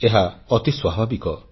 ଏହା ଅତି ସ୍ୱାଭାବିକ